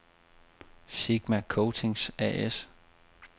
Sigma Coatings A/S